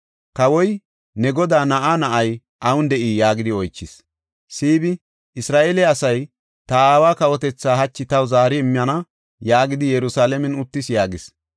Kawoy, “Ne godaa na7aa na7ay awun de7ii?” yaagidi oychis. Siibi, “ ‘Isra7eele asay ta aawa kawotethaa hachi taw zaari immana’ yaagidi Yerusalaamen uttis” yaagis.